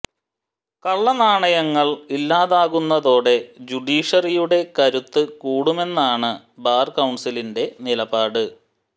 കള്ള നാണയങ്ങൾ ഇല്ലാതാകുന്നതോടെ ജ്യൂഡീഷറിയുടെ കരുത്ത് കൂടുമെന്നാണ് ബാർ കൌൺസിലിന്റെ നിലപാട്